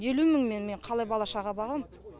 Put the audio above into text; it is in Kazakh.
елу мыңмен мен қалай бала шаға бағам